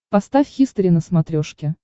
поставь хистори на смотрешке